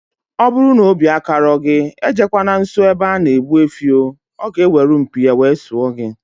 Ọbụrụ na obi akarọ gị, ejekwana nsọ ebe ana egbu efi oo, ọ ga eweru mpi ya wee sụọ gị